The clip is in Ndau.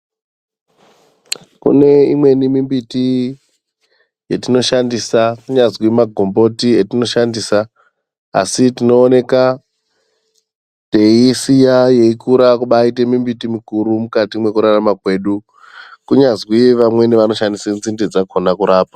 Kune imweni mimbiti yatinoshandisa anganzi magomboti atinoshandisa asi tinoona teisiya yeikura kuita mbiti yakura mukati mekurarama kwedu kunyazi vamweni vanoshandisa nzinde dzakona kurapa.